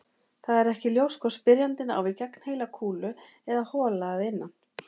Það er ekki ljóst hvort spyrjandinn á við gegnheila kúlu eða hola að innan.